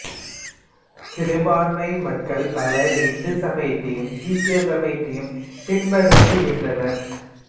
சிறுபான்மை மக்கள் பலர் இந்து சமயத்தையும் சீக்கிய சமயத்தையும் பின்பற்றுகின்றனர்